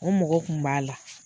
O mɔgɔ kun b'a la.